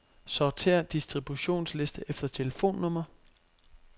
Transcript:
Sortér distributionsliste efter telefonnummer.